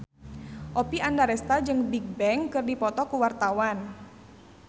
Oppie Andaresta jeung Bigbang keur dipoto ku wartawan